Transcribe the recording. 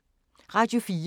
Radio 4